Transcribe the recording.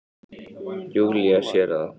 Júlía sér það.